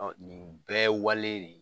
Ɔn nin bɛɛ ye wale de ye.